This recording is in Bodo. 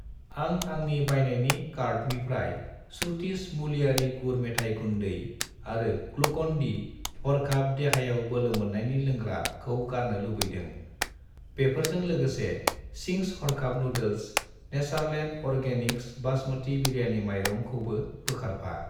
आं आंनि बायनायनि कार्टनिफ्राय श्रुतिस मुलियारि गुर मेथाइ गुन्दै आरो ग्लुकन-डि हरखाब देहायाव बोलोमोन्नायनि लोंग्रा खौ गारनो लुबैदों। बेफोरजों लोगोसे चिंस हरखाब noodles , Natureland organics basmati biryani माइरं खौबो बोखारफा।